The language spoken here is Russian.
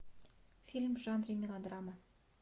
фильм в жанре мелодрама